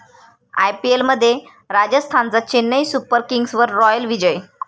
आयपीएलमध्ये राजस्थानचा चेन्नई सुपर किंग्सवर रॉयल विजय